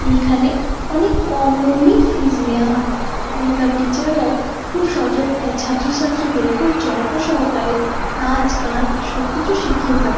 এইখানে অনেক কম মূল্যে ফিস নেওয়া হয় | এবং টিচার্ -রাও খুব সযত্নে ছাত্র ছাত্রীদের খুব যত্ন সহকারে নাচ গান শিকিয়ে থাকে ।